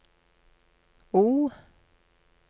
O